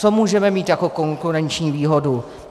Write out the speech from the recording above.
Co můžeme mít jako konkurenční výhodu?